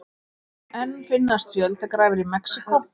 Enn finnast fjöldagrafir í Mexíkó